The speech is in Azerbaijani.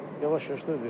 Yavaş-yavaş da ödəyirəm.